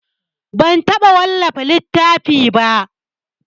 Ban taɓa wallafa littafi ba.